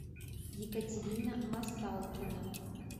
екатерина масалкина